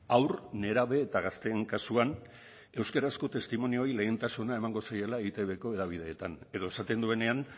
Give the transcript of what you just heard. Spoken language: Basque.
haur nerabe eta gazteen kasuan euskarazko testimonioei lehentasuna emango zaiela eitbko hedabideetan edo esaten duenean